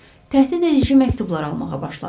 Təhdidedici məktublar almağa başladı.